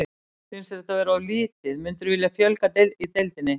Finnst þér þetta vera of lítið, myndirðu vilja fjölga í deildinni?